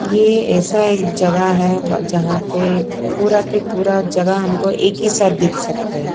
ये ऐसा एक जगह है जहां पे पूरा के पूरा जगह हमको एक ही साथ दिख सकते हैं।